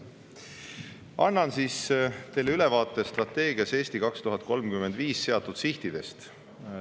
Annan teile ülevaate strateegias "Eesti 2035" seatud sihtidest.